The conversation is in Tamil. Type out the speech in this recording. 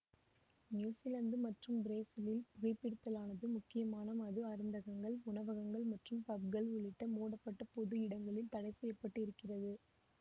நியூஸிலாந்து மற்றும் பிரேசிலில் புகைபிடித்தலானது முக்கியமாக மது அருந்தகங்கள் உணவகங்கள் மற்றும் பப்கள் உள்ளிட்ட மூடப்பட்ட பொது இடங்களில் தடைசெய்யப்பட்டிருக்கிறது